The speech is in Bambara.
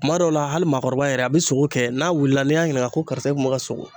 Kuma dɔw la hali maakɔrɔba yɛrɛ a bi sogo kɛ n'a wulila n'i y'a ɲininka ko karisa e kun be ka sogo